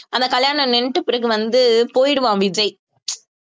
அந்த கல்யாணம் நின்னுட்டு பிறகு வந்து போயிடுவான் விஜய்